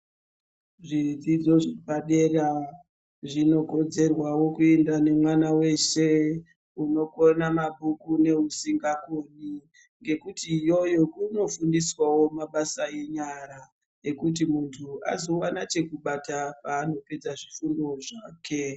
Zvidzidzo zvepadera zvinokodzerwawo kuenda nemwana weshe, unokona mabhuku neusingakoni. Ngekuti iyoyo kunofundiswawo mabasa enyara, ekuti munthu azowana chekubata paanopedza zvifundo zvake.